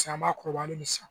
Paseke an m'a kɔrɔbalen ne san